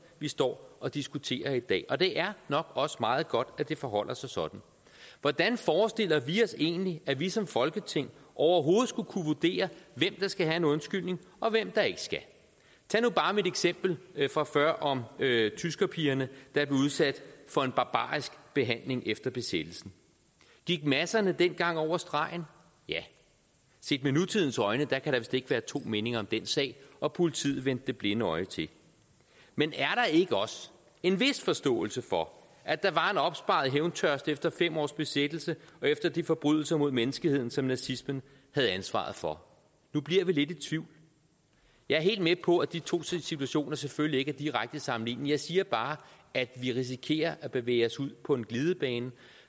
vi står og diskuterer i dag og det er nok også meget godt at det forholder sig sådan hvordan forestiller vi os egentlig at vi som folketing overhovedet skulle kunne vurdere hvem der skal have en undskyldning og hvem der ikke skal tag nu bare mit eksempel fra før om tyskerpigerne der blev udsat for en barbarisk behandling efter besættelsen gik masserne dengang over stregen ja set med nutidens øjne kan der vist ikke være to meninger om den sag og politiet vendte det blinde øje til men er der ikke også en vis forståelse for at der var en opsparet hævntørst efter fem års besættelse og efter de forbrydelser mod menneskeheden som nazismen havde ansvaret for nu bliver vi lidt i tvivl jeg er helt med på at de to situationer selvfølgelig ikke er direkte sammenlignelige jeg siger bare at vi risikerer at bevæge os ud på en glidebane